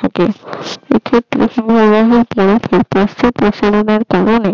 থাকে এক্ষেত্রে হিমবাহের বরফের প্রস্থ প্রসারণের কারণে